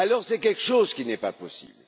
C'est quelque chose qui n'est pas possible.